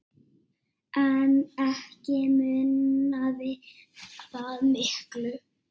En ekki munaði það miklu.